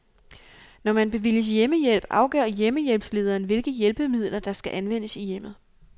Når man bevilges hjemmehjælp afgør hjemmehjælpslederen, hvilke hjælpemidler, der skal anvendes i hjemmet.